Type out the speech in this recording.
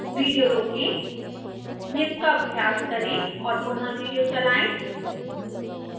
video रोकें निम्न का अभ्यास करें और पुनः विडियो चलाएं